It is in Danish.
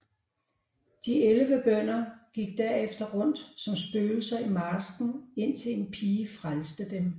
De elleve bønder gik derefter rundt som spøgelser i marsken indtil en pige frelste dem